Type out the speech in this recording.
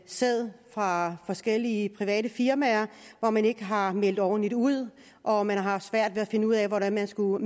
sæd fra forskellige private firmaer hvor man ikke har meldt ordentligt ud og hvor man har haft svært ved at finde ud af hvordan man skulle